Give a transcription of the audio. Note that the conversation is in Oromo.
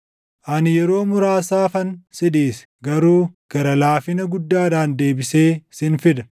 “Ani yeroo muraasaafan si dhiise; garuu gara laafina guddaadhaan deebisee sin fida.